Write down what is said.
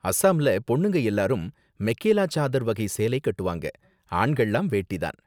அஸாம்ல பொண்ணுங்க எல்லாரும் மெகேலா சாதர் வகை சேலை கட்டுவாங்க, ஆண்கள்லாம் வேட்டி தான்.